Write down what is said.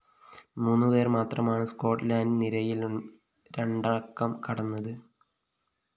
മൂന്നുപേര്‍ മാത്രമാണ്‌ സ്കോട്ട്ലന്റ്‌ നിരയില്‍ രണ്ടക്കം കടന്നത്‌